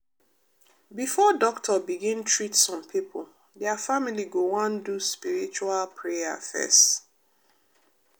before doctor begin treat some pipo dia family go wan do spiritual prayer fess.